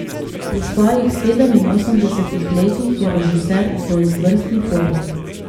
Pri svojih sedeminosemdesetih letih je režiser v izvrstni formi.